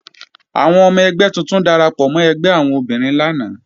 Àwọn ọmọ ẹgbẹ́ tuntun darapọ̀ mọ́ ẹgbẹ́ àwọn obìnrin lánàá